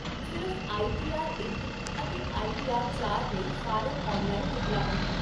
ਸਿਰਫ਼ I T R ਇਕ ਅਤੇ ਆਈ ਟੀ ਆਰ ਚਾਰ ਲਈ ਫਾਰਮ ਆਨਲਾਈਨ ਉਪਲਬਧ ਹਨ